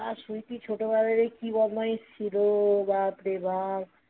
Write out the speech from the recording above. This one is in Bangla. আর সুইটি ছোটবেলা থেকে কি বদমাইশ ছিল বাপরে বাপ